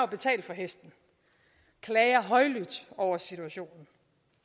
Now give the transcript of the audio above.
betalt for hesten og klager højlydt over situationen